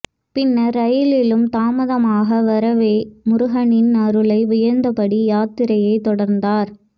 பின்னர் ரயிலும் தாமதமாக வரவே முருகனின் அருளை வியந்தபடி யாத்திரையை தொடர்ந்தார்